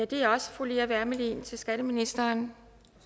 det er også fru lea wermelin til skatteministeren